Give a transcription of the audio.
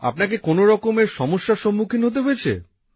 আপনাকে কোনো রকমের সমস্যার সম্মুখীন হতে হয়েছে